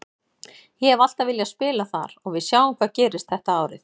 Ég hef alltaf viljað spila þar og við sjáum hvað gerist þetta árið.